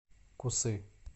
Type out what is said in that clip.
кусы